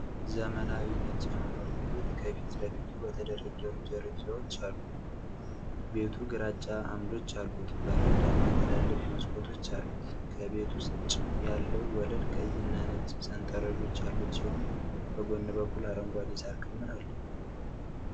ዘመናዊ ነጭ የመኖሪያ ቤት ከፊት ለፊቱ በተደረደሩ ደረጃዎች አሉ። ቤቱ ግራጫ አምዶች ያሉት በረንዳና ትላልቅ መስኮቶች አሉት። ከቤት ውጭ ያለው ወለል ቀይና ነጭ ሰንጠረዦች ያሉት ሲሆን፣ በጎን በኩል አረንጓዴ የሣር ክምር አለ።